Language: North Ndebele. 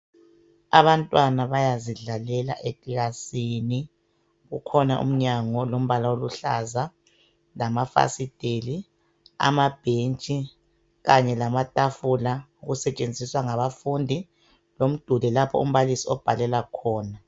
Abantwana bayazidlalela ekilasini. Kukhona umnyango olombala oluhlaza lamafasiteli, amabhenji kanye lamatafula okusetshenziswa ngabafundi lomduli lapho umbalisi obhalela khona.